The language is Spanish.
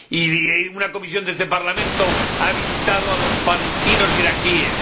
Y una comisión de este Parlamento ha visitado a los palestinos iraquíes.